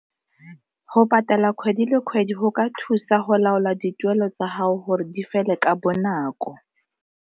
Go patala kgwedi le kgwedi go ka thusa go laola dituelo tsa gago gore di fele ka bonako.